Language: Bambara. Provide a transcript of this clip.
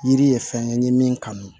Yiri ye fɛn ye n ye min kanu